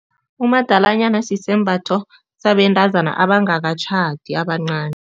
Umadalanyana sisembatho sabentazana abangakatjhadi, abancani.